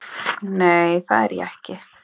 Nei, það er ég ekki.